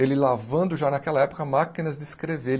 ele lavando, já naquela época, máquinas de escrever.